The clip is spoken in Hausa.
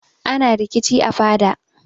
Ana rikici a fada.